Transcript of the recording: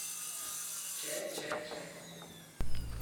Če, če, če.